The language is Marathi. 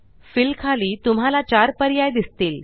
फिल खाली तुम्हाला 4पर्याय दिसतील